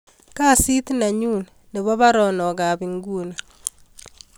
Kasit nenyun nebo baronok ab inguni